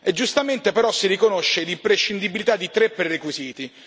Giustamente però si riconosce l'imprescindibilità di tre prerequisiti.